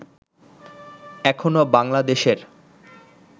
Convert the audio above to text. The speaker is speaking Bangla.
এখনও বাংলাদেশের